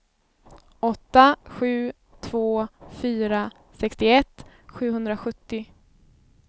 åtta sju två fyra sextioett sjuhundrasjuttio